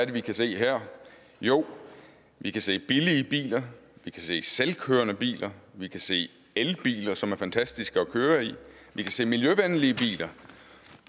vi kan se her jo vi kan se billige biler vi kan se selvkørende biler vi kan se elbiler som er fantastiske at køre i vi kan se miljøvenlige biler